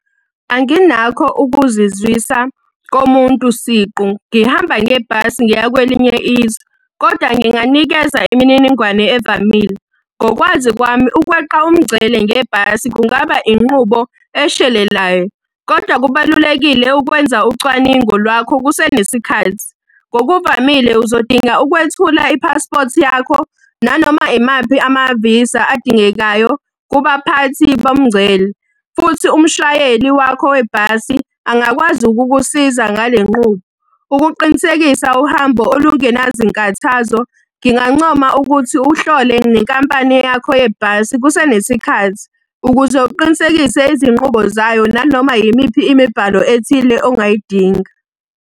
Anginakho ukuzizwisa komuntu siqu ngihamba ngebhasi ngiya kwelinye izwe, kodwa nginganikeza imininingwane evamile. Ngokwazi kwami ukweqa umngcele ngebhasi kungaba inqubo eshelelayo, kodwa kubalulekile ukwenza ucwaningo lwakho kusenesikhathi. Ngokuvamile uzodinga ukwethula iphaspothi yakho, nanoma imaphi amavisa adingekayo kubaphathi bomngcele. Futhi umshayeli wakho webhasi angakwazi ukukusiza ngale nqubo. Ukuqinisekisa uhambo olungenazinkathazo, ngingancoma ukuthi uhlole nenkampani yakho yebhasi kusenesikhathi, ukuze uqinisekise izinqubo zayo nanoma yimiphi imibhalo ethile ongayidinga.